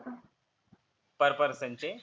per person चे?